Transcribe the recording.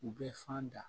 U bɛ fan da